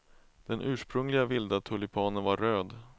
Den ursprungliga vilda tulpanen var röd.